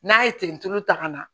N'a ye ten tulu ta ka na